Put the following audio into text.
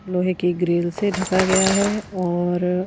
लोहे की ग्रिल से ढका गया है और--